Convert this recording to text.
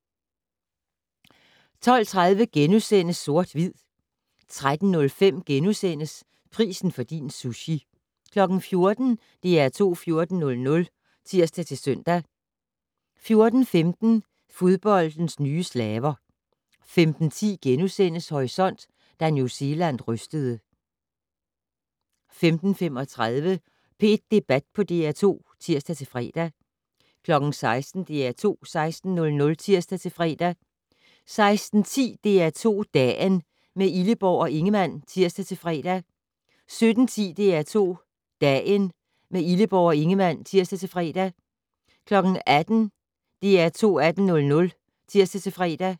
12:30: Sort/Hvid * 13:05: Prisen for din sushi * 14:00: DR2 14:00 (tir-søn) 14:15: Fodboldens nye slaver 15:10: Horisont: Da New Zealand rystede * 15:35: P1 Debat på DR2 (tir-fre) 16:00: DR2 16:00 (tir-fre) 16:10: DR2 Dagen - med Illeborg og Ingemann (tir-fre) 17:10: DR2 Dagen - med Illeborg og Ingemann (tir-fre) 18:00: DR2 18:00 (tir-fre)